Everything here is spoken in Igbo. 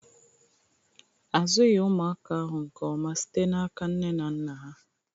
Azụghị ụmụaka ahụ nke ọma site n'aka nne na nna ha